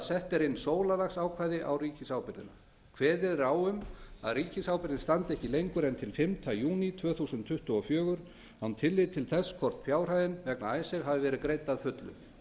er inn sólarlagsákvæði á ríkisábyrgðina kveðið er á um að ríkisábyrgðin standi ekki lengur en til fimmta júní tvö þúsund tuttugu og fjögur án tillits til þess hvort fjárhæðin vegna icesave hafi verið greidd að fullu